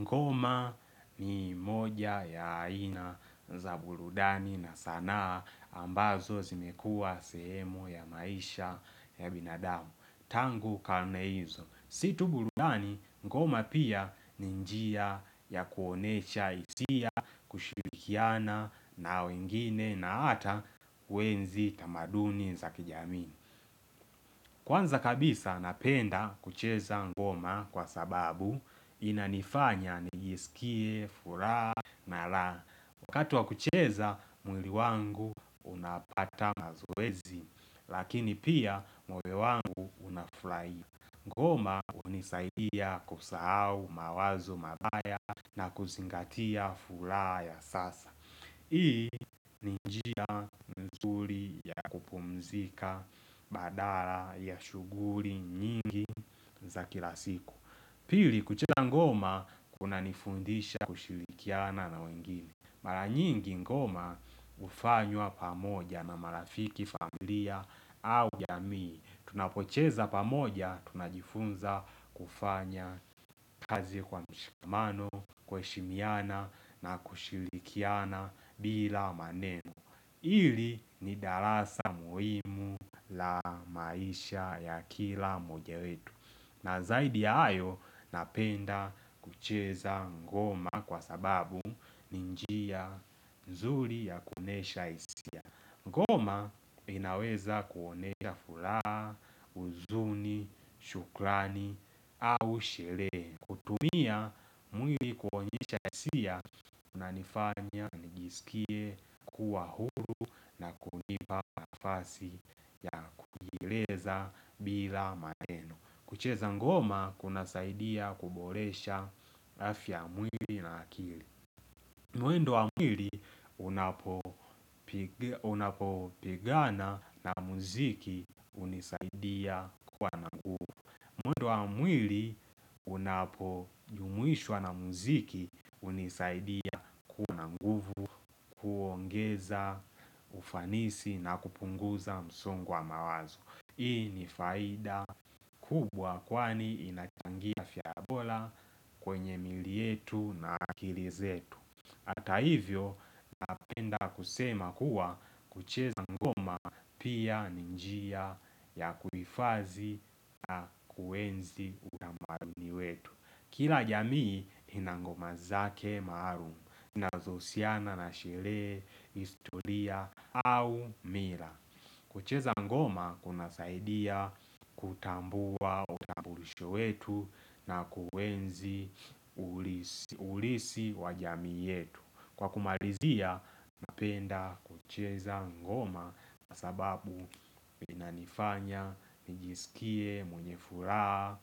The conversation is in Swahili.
Ngoma ni moja ya aina za burudani na sanaa ambazo zimekua sehemu ya maisha ya binadamu. Tangu karne hizo. Sio tu burudani ngoma pia ninjia ya kuonesha hisia kushirikiana na wengine na ata kuenzi tamaduni za kijamii. Kwanza kabisa napenda kucheza ngoma kwa sababu inanifanya niisikie, furaha na lraha. Wakatu wa kucheza, mwili wangu unapata mazoezi, lakini pia moyo wangu unafurahia. Ngoma hunisaidia kusahau mawazo mabaya na kuzingatia furaha ya sasa. Hii ni njia mzuri ya kupumzika, badala ya shuguli nyingi za kilasiku Pili kuchesa ngoma kuna nifundisha kushilikiana na wengine Mara nyingi ngoma hufanywa pamoja na marafiki familia au jamii Tunapocheza pamoja, tunajifunza kufanya kazi kwa mshikamano, kuheshimiana na kushirikiana bila manemo ili ni darasa muhimu la maisha ya kila moja wetu na zaidi hayo napenda kucheza ngoma kwa sababu ninjia nzuri ya kuonesha hisia Ngoma inaweza kuonesha furaha, uzuni, shukrani au sherehe. Kutumia mwili kuonyesha hisia na inifanya nijisikie kuwa huru na kunipa na fasi ya kujieleza bila maneno. Kucheza ngoma kuna saidia kuboresha afya mwili na akili. Mwendo wa mwili unapo pigana na muziki unisaidia kuwa nguvu. Mwendo wa mwili unapo jumuishwa na muziki hunisaidia kuwa na nguvu, kuongeza ufanisi na kupunguza msongo wa mawazo. Hii ni faida kubwa kwani inachangia afya bora kwenye miili yetu na akilizetu. Hata hivyo napenda kusema kuwa kucheza ngoma pia ninjia ya kuhifadhi na kuenzi utamaduni wetu. Kila jamii inangoma zake maalum zina zohusiana na sherehe, historia au mira. Kucheza ngoma kuna saidia kutambua utambulisho wetu na kuenzi ulisi wajamii yetu Kwa kumalizia napenda kucheza ngoma sababu inanifanya, nijisikie, mwenye furaha,